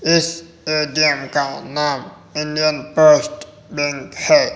इस का नाम इंडियन पोस्ट बैंक है।